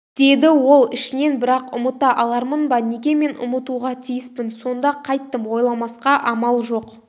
деді ол ішінен бірақ ұмыта алармын ба неге мен ұмытуға тиіспін сонда қайттім ойламасқа амал жоқ